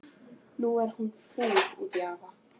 Nú er hún fúl út í afa.